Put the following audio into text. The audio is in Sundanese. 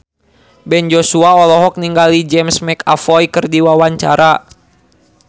Ben Joshua olohok ningali James McAvoy keur diwawancara